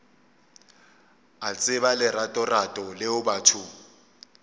a tseba leratorato leo batho